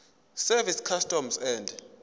service customs and